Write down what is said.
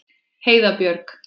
Heiða Björg.